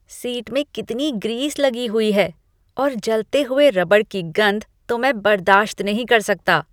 Seat में कितनी grease लगी हुई है और जलते हुए रबड़ की गंध तो मैं बर्दाश्त नहीं कर सकता।